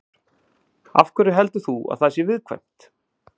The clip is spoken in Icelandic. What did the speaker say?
Ingveldur: Af hverju heldur þú að það sé viðkvæmt?